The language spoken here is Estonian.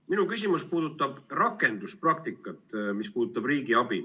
Minu küsimus puudutab riigiabiga seotud rakenduspraktikat.